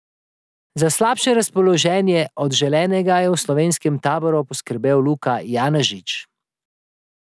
Za slabše razpoloženje od želenega je v slovenskem taboru poskrbel Luka Janežič.